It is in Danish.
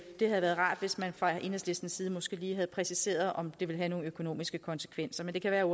det havde været rart hvis man fra enhedslistens side måske lige havde præciseret om det vil have nogle økonomiske konsekvenser men det kan være